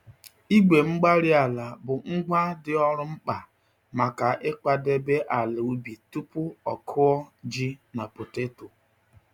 Igwe-mgbárí-ala bụ ngwa dị ọrụ mkpa maka ịkwadebe ala ubi tupu ọ kụọ ji na poteto.